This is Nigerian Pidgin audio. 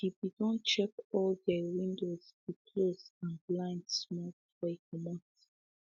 he be don check all dey window be close and blind small before e comot